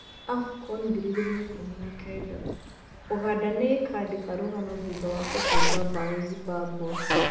Afcon2019: Uganda nĩ-ĩkandĩka rũgano thutha wa kũbunga mbaũ Zimbabwe